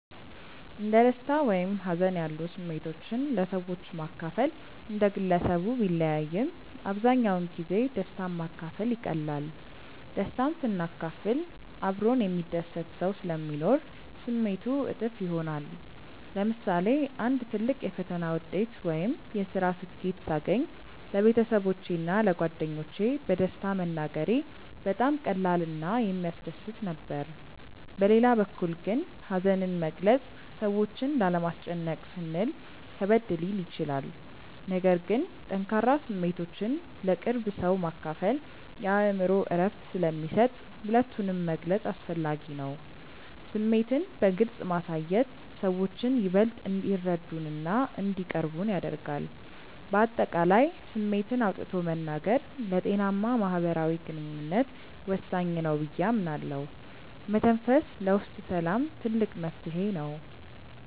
እንደ ደስታ ወይም ሀዘን ያሉ ስሜቶችን ለሰዎች ማካፈል እንደ ግለሰቡ ቢለያይም፣ አብዛኛውን ጊዜ ደስታን ማካፈል ይቀላል። ደስታን ስናካፍል አብሮን የሚደሰት ሰው ስለሚኖር ስሜቱ እጥፍ ይሆናል። ለምሳሌ አንድ ትልቅ የፈተና ውጤት ወይም የስራ ስኬት ሳገኝ ለቤተሰቦቼ እና ለጓደኞቼ በደስታ መናገሬ በጣም ቀላል እና የሚያስደስት ነበር። በሌላ በኩል ግን ሀዘንን መግለጽ ሰዎችን ላለማስጨነቅ ስንል ከበድ ሊል ይችላል። ነገር ግን ጠንካራ ስሜቶችን ለቅርብ ሰው ማካፈል የአእምሮ እረፍት ስለሚሰጥ ሁለቱንም መግለጽ አስፈላጊ ነው። ስሜትን በግልጽ ማሳየት ሰዎችን ይበልጥ እንዲረዱንና እንዲቀርቡን ያደርጋል። በአጠቃላይ ስሜትን አውጥቶ መናገር ለጤናማ ማህበራዊ ግንኙነት ወሳኝ ነው ብዬ አምናለሁ። መተንፈስ ለውስጥ ሰላም ትልቅ መፍትሄ ነው።